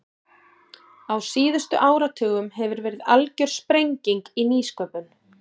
Á síðustu áratugum hefur verið algjör sprenging í nýsköpun.